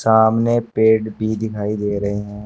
सामने पेड़ भी दिखाई दे रहे हैं।